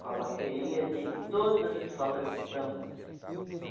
Com a bateria de todas as escolas de samba.